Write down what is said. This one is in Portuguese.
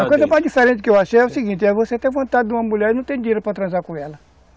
A coisa mais diferente que eu achei é o seguinte, é você ter vontade de uma mulher e não ter dinheiro para transar com ela.